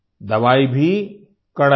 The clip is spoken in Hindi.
दवाई भी कड़ाई भी